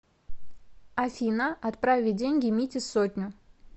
афина отправить деньги мите сотню